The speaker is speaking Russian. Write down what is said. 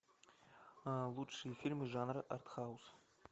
лучшие фильмы жанра артхаус